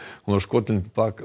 hún var skotin til